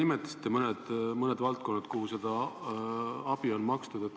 Te juba nimetasite mõned valdkonnad, kus seda abi on makstud.